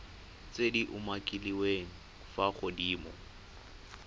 tse di umakiliweng fa godimo